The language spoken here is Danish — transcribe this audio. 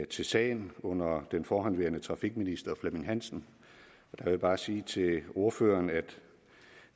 til sagen under den forhenværende trafikminister flemming hansen jeg vil bare sige til ordføreren at